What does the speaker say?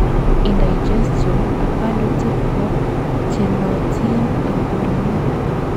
indigestion ak kalutik ko chenootin en uinwek